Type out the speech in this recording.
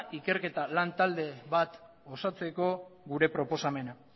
ikerketa lantalde bat osatzeko gure proposamena